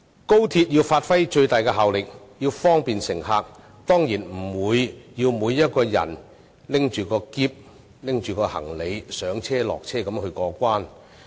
高鐵要發揮最大效力，方便乘客，當然不會令每位乘客要攜着行李上車、下車過關。